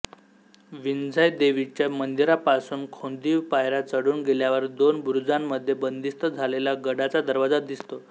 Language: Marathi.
विंझाई देवीच्या मंदिरापासून खोदीव पायऱ्या चढून गेल्यावर दोन बुरुजांमध्ये बंदिस्त झालेला गडाचा दरवाजा दिसतो